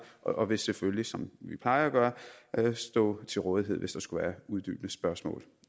og vil selvfølgelig som vi plejer at gøre stå til rådighed hvis der skulle være uddybende spørgsmål